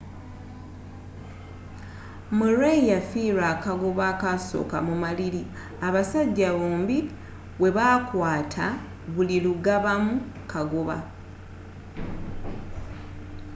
murray yafiirwa akagoba ak'asooka mu maliri abasajja bombi bwe baakwaata buli lugabamu kagoba